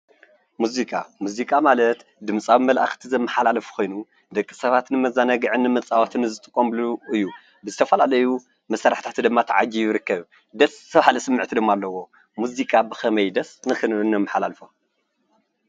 ሙዚቃ :- ሙዚቃ ማለት ድምፃዊ መልእኽቲ ዘመሓላልፍ ኾይኑ ደቂ ሰባት ንመዘናግዕን ንመፃወትን ዝጥቀመሉ እዩ። ብዝተፍላለዩ መሳርሕታት ድማ ተዓጅቡ ይርከብ ። ደስ በሃሊ ስምዒት ድማ አለዎ ። ሙዚቃ ብኸመይ ደስ ንኽንብል ነመሓላልፎ?